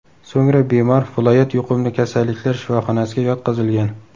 So‘ngra bemor viloyat yuqumli kasalliklar shifoxonasiga yotqizilgan.